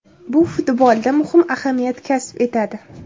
Bu futbolda muhim ahamiyat kasb etadi.